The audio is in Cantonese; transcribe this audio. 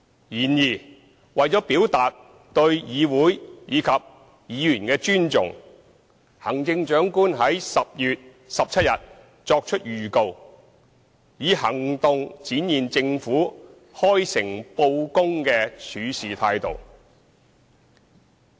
然而，為了表達對議會及議員的尊重，行政長官於10月17日作出預告，以行動展現政府開誠布公的處事態度。